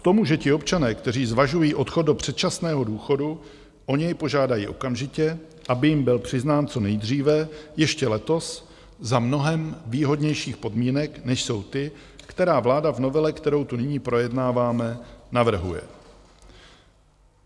K tomu, že ti občané, kteří zvažují odchod do předčasného důchodu, o něj požádají okamžitě, aby jim byl přiznán co nejdříve, ještě letos, za mnohem výhodnějších podmínek než jsou ty, které vláda v novele, kterou tu nyní projednáváme, navrhuje.